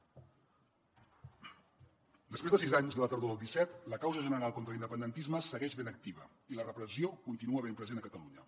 després de sis anys de la tardor del disset la causa general contra l’independentisme segueix ben activa i la repressió continua ben present a catalunya